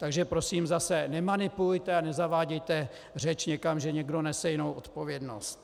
Takže prosím, zase - nemanipulujte a nezavádějte řeč někam, že někdo nese jinou odpovědnost.